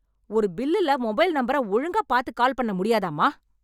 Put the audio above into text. ஒரு பில்லுல மொபைல் நம்பர ஒழுங்காப் பாத்து கால் பண்ண முடியாதாம்மா?